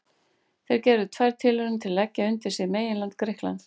Þeir gerðu tvær tilraunir til að leggja undir sig meginland Grikklands.